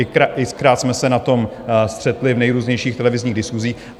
X-krát jsme se na tom střetli v nejrůznějších televizních diskusích.